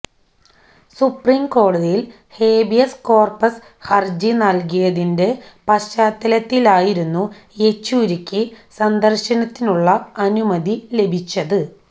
സുപ്രീംകോടതിയിൽ habeas corpus ഹർജി നൽകിയതിന്റെ പശ്ചാത്തലത്തിലായിരുന്നു യെച്ചൂരിക്ക് സന്ദർശനത്തിനുള്ള അനുമതി ലഭിച്ചത്